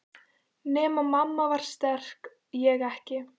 Nema mamma var sterk, ég ekki.